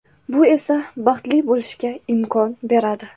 Bu esa baxtli bo‘lishga imkon beradi.